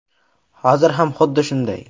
Hozir ham xuddi shunday.